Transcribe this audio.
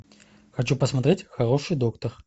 хочу посмотреть хороший доктор